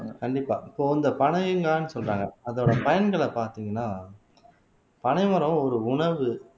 ஆஹ் கண்டிப்பா இப்போ இந்த பனைங்கான்னு சொல்றாங்க அதோட பயன்களை பார்த்தீங்கன்னா பனைமரம் ஒரு உணவு